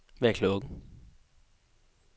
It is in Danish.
Hvad er klokken